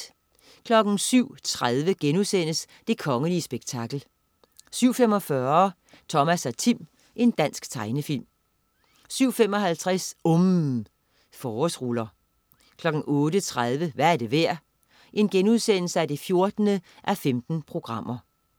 07.30 Det kongelige spektakel* 07.45 Thomas og Tim. Dansk tegnefilm 07.55 UMM. Forårsruller 08.30 Hvad er det værd? 14:15*